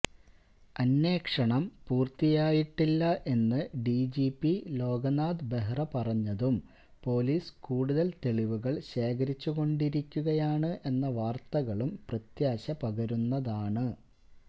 അന്വേഷണം പൂര്ത്തിയായിട്ടില്ല എന്ന് ഡിജിപി ലോകനാഥ് ബെഹ്റ പറഞ്ഞതും പോലീസ് കൂടുതല് തെളിവുകള് ശേഖരിച്ചുകൊണ്ടിരിക്കുകയാണ് എന്ന വാര്ത്തകളും പ്രത്യാശ പകരുന്നതാണ്